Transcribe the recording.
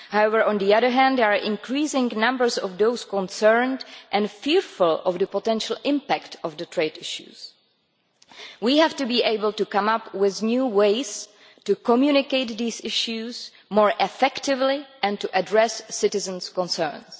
However, on the other hand, there are increasing numbers of those concerned and fearful of the potential impact of the trade issues. We have to be able to come up with new ways to communicate these issues more effectively and to address citizens' concerns.